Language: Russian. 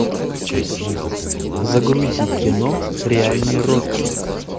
загрузи кино реальный рокки